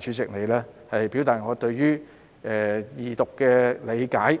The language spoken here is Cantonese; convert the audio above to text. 主席你，表達我對於二讀的理解。